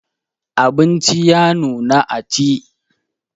Abinci ya nuna a ci.